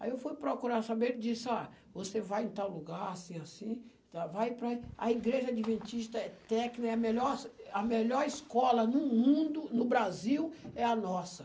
Aí eu fui procurar saber, ele disse, ó, você vai em tal lugar, assim, assim e tal, vai para a Igreja Adventista, é técnica, é a melhor a melhor escola no mundo, no Brasil, é a nossa.